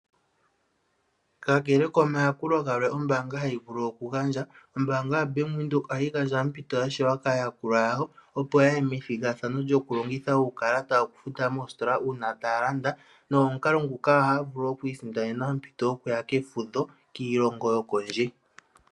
Kakele komayakulo galwe ombaanga ha yi vulu okugandja, ombaanga ya Bank Windhoek ohayi gandja ompito yashelwa kaayakulwa yaho, opo ya ye methigathano lyo kulongitha uukalata okufuta moositola uuna taalanda, nomukala nguka oha ya vulu okwiisindanena ompito yo ku ya kefudho kiilongo yokondje.